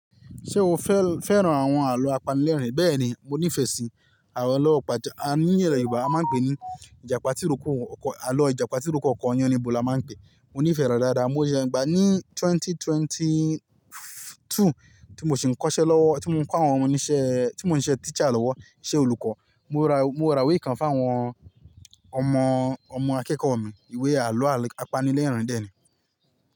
Ṣé o fẹ́ fẹ́ràn àwọn àlọ́ apanilẹ́rìnín? Bẹ́ẹ̀ni, mo nífẹ̀ẹ́ sí àlọ́ ọpajà. Ní ilẹ̀ Yorùbá a máa ń pe ní ìjàpá tí rókò, àlọ́ ìjàpá tí rókò ọkọ̀ ọyàn ni bó la máa ń pe é. Mo nífẹ̀ẹ́ rẹ̀ dáadáa. Mo yẹ gbá ní twenty twenty two tí mo sì ń kọ́ṣẹ́ lọ́wọ́, tí mo ń kọ́ àwọn oníṣẹ́, tí mò ń ṣe teacher lọ́wọ́, iṣẹ́ olùkọ́. Mo ra, mo ra ìwé kan fún àwọn ọmọ, ọmọ akẹ́kọ̀ọ́ mi. Ìwé àlọ́ al-apanilẹ́rìnín dé ni.